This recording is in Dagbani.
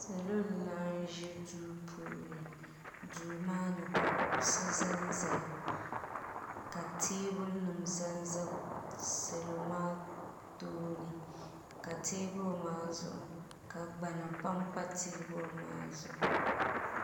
Salo n laɣim ʒi duu puuni duu maani ka kuɣusi zanzaya ka teebuli nima zanza salo maa tooni ka teebuli maa zuɣu ka gbana pampa teebuli maa zuɣu.